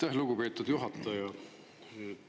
Aitäh, lugupeetud juhataja!